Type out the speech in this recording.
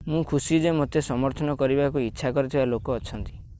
ମୁଁ ଖୁସି ଯେ ମୋତେ ସମର୍ଥନ କରିବାକୁ ଇଚ୍ଛା କରୁଥିବା ଲୋକ ଅଛନ୍ତି